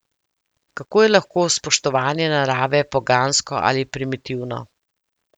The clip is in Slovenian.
Kako je lahko spoštovanje narave pogansko ali primitivno?